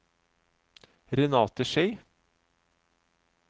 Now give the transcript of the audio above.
Renate Schei